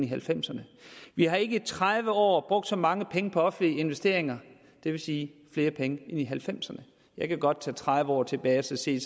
halvfemserne vi har ikke i tredive år før så mange penge på offentlige investeringer det vil sige flere penge end i nitten halvfemserne jeg kan godt tælle tredive år tilbage og se